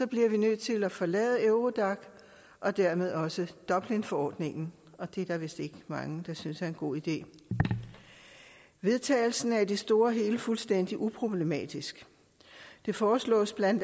bliver vi nødt til at forlade eurodac og dermed også dublinforordningen og det er der vist ikke mange der synes er en god idé vedtagelsen er i det store og hele fuldstændig uproblematisk det foreslås bla